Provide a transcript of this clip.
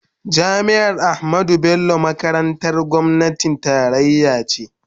Jami'ar Ahmadu Bello makarantar gwamnatin tarayya ce.